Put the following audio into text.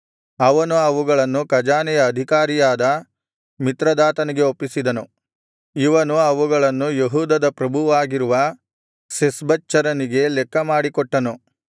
ಅವನು ಅವುಗಳನ್ನು ಖಜಾನೆಯ ಅಧಿಕಾರಿಯಾದ ಮಿತ್ರದಾತನಿಗೆ ಒಪ್ಪಿಸಿದನು ಇವನು ಅವುಗಳನ್ನು ಯೆಹೂದದ ಪ್ರಭುವಾಗಿರುವ ಶೆಷ್ಬಚ್ಚರನಿಗೆ ಲೆಕ್ಕಮಾಡಿ ಕೊಟ್ಟನು